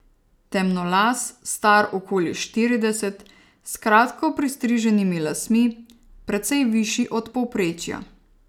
Temnolas, star okoli štirideset, s kratko pristriženimi lasmi, precej višji od povprečja.